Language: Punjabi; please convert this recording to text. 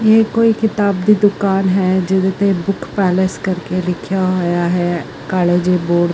ਇਹੇ ਕੋਈ ਕਿਤਾਬ ਦੀ ਦੁਕਾਨ ਹੈ ਜਿਹਦੇ ਤੇ ਦੁੱਖ ਕਾਲਸ ਕਰਕੇ ਦੇਖਿਆ ਹੋਇਆ ਹੈ ਕਾਲੇ ਜੇ ਬੋਰਡ --